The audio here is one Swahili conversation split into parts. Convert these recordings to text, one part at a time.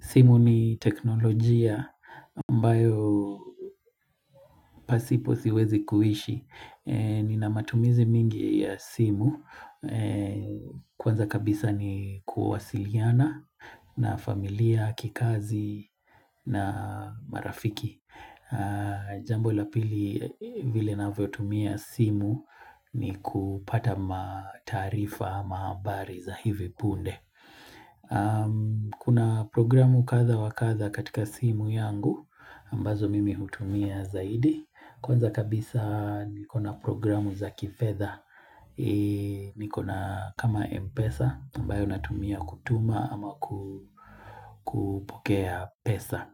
Simu ni teknolojia ambayo pasipo siwezi kuishi. Nina matumizi mingi ya simu. Kwanza kabisa ni kuwasiliana na familia, kikazi na marafiki. Jambo la pili vile navyo tumia simu ni kupata mataarifa mahabari za hivi punde. Kuna programu kadha wa kadha katika simu yangu ambazo mimi hutumia zaidi kwanza kabisa niko na programu za kifedha nikona kama Mpesa ambayo natumia kutuma ama kupokea pesa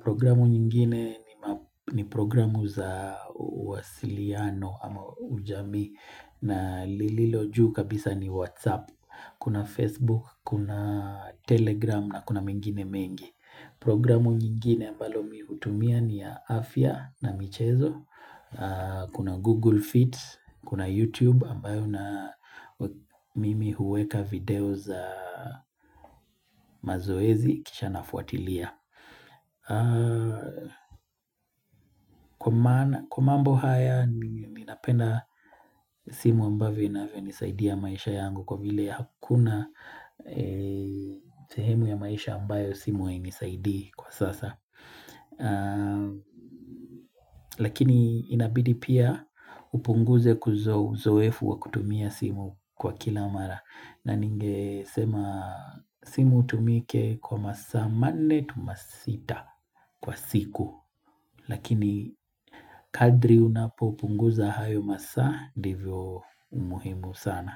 Programu nyingine ni programu za uwasiliano ama ujamii na lililo juu kabisa ni Whatsapp Kuna Facebook, kuna Telegram na kuna mengine mengi Programu nyingine ambalo mi hutumia ni ya afya na michezo Kuna Google Fit, kuna YouTube ambayo na mimi huweka video za mazoezi kisha nafuatilia Kwa mambo haya mimi napenda simu ambavyo inavyonisaidia maisha yangu Kwa vile hakuna sehemu ya maisha ambayo simu hainisaidii kwa sasa Lakini inabidi pia upunguze kuzo uzoefu wa kutumia simu kwa kila mara. Na ningesema simu itumike kwa masaa manne to masita kwa siku Lakini kadri unapopunguza hayo masa ndivyo umuhimu sana.